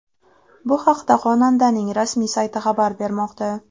Bu haqda xonandaning rasmiy sayti xabar bermoqda .